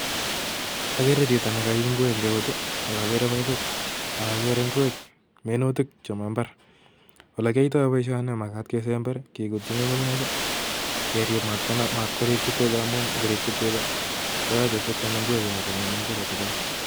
Agere chito nekaib ingwek eng keut ii, akagere baibai, akagere ingwek minutik chebo mbar. Ole kiyoitoi boisioni ko magat kesember ii, kigutyi ng'ung'unyek ii kerib mat konam mat korikchi tuga amun ngorikchi tuga koyoche sikwam ingwecho akong'em ingwechotocho.